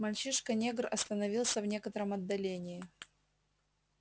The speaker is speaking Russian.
мальчишка-негр остановился в некотором отдалении